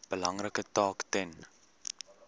belangrike taak ten